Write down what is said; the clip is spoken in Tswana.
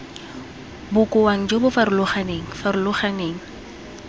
bokaong jo bo farologaneng farologaneng